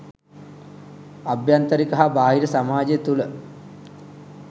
අභ්‍යන්තරික හා බාහිර සමාජය තුළ